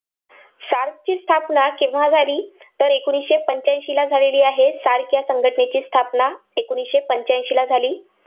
SARC ची स्थापना केव्हा झाली? तर एकोणीसशे पंच्याऐंशीला झालेली आहे SARC संघटनेची स्थापना एकोणीसशे पंच्याऐंशीला झाली.